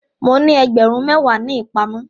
Mo ní ẹgbẹ̀rún méwàá ní ìpamọ́.